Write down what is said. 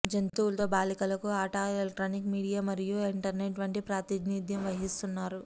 జంతువులు తో బాలికలకు ఆట ఎలక్ట్రానిక్ మీడియా మరియు ఇంటర్నెట్ వంటి ప్రాతినిధ్యం వహిస్తున్నారు